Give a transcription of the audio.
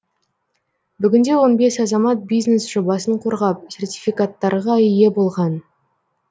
бүгінде он бес азамат бизнес жобасын қорғап сертификаттарға ие болған